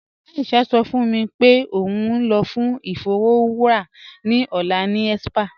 Aisha sọ fún mí pé ó n lọ fún ifọ̀wọra ni ọlá ni spa.